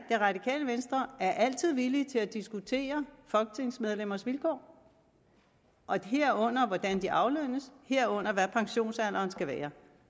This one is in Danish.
det radikale venstre altid er villige til at diskutere folketingsmedlemmers vilkår herunder hvordan de aflønnes og herunder hvad pensionsalderen skal være